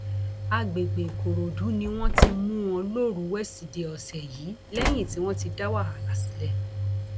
àgbègbè ìkòròdú ni wọn ti mú wọn lọjọrùú wíṣídẹẹ ọsẹ yìí lẹyìn tí wọn ti dá wàhálà sílẹ